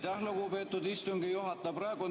Aitäh, lugupeetud istungi juhataja!